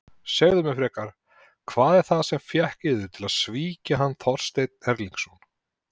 Segið mér frekar: Hvað var það sem fékk yður til að svíkja hann Þorstein Erlingsson?